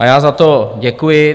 A já za to děkuji.